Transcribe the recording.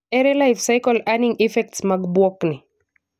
Ere life-cycle earning effects mag bwok ni?